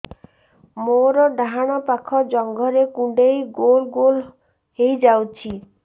ମୋର ଡାହାଣ ପାଖ ଜଙ୍ଘରେ କୁଣ୍ଡେଇ ଗୋଲ ଗୋଲ ହେଇଯାଉଛି